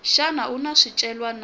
xa nawu wa swicelwa na